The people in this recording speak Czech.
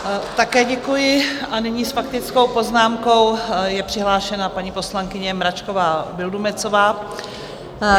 Také děkuji a nyní s faktickou poznámkou je přihlášena paní poslankyně Mračková Vildumetzová.